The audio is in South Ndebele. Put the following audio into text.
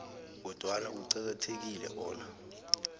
kodwana kuqakathekile bona